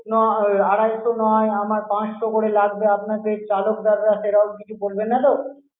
না আড়াইশো নয় আমার পাঁচশো করে লাগবে. আপনাদের চালকদাররা সেরকম কিছু করবে না তো?